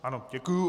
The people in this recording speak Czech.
Ano, děkuji.